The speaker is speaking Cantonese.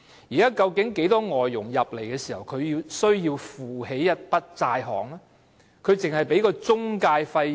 現時，很多外傭來港時，也要負擔一筆債項，究竟外傭要繳交多少中介費呢？